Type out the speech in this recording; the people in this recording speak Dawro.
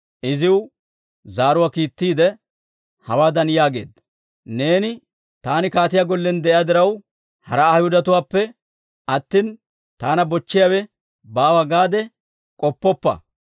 iziw zaaruwaa kiittiidde, hawaadan yaageedda; «Neeni, ‹Taani kaatiyaa gollen de'iyaa diraw, hara Ayhudatuwaappe attina, taana bochchiyaawe baawa› gaade k'oppoppa!